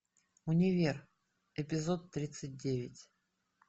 универ эпизод тридцать девять